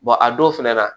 a don fɛnɛ na